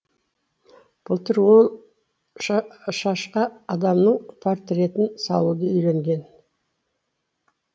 былтыр ол шашқа адамның портретін салуды үйренген